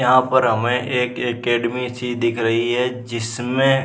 यहाँ पर हमे एक एकेडमी सी दिख रही है जिसमे --